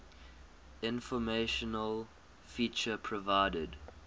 informational feature provided